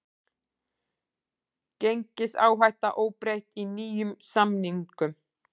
Gengisáhætta óbreytt í nýjum samningum